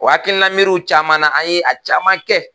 O hakilina miiriw caman na an ye a caman kɛ.